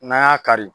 N'an y'a kari